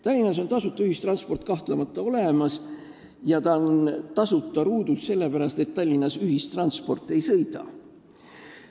Tallinnas on tasuta ühistransport kahtlemata olemas ja ta on tasuta ruudus, sellepärast et Tallinnas ühistransport ei sõida.